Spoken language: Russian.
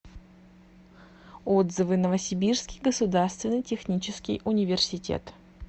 отзывы новосибирский государственный технический университет